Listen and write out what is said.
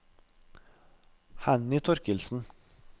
Henny Thorkildsen